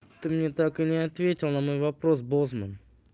ты мне так и не ответил на мой вопрос бозман